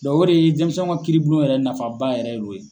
o de ye denmisɛnw ka kiiribulon yɛrɛ nafaba yɛrɛ ye o ye.